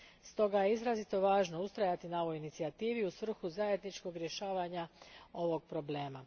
Stoga je izrazito važno ustrajati na ovoj inicijativi u svrhu zajedničkog rješavanja ovog problema.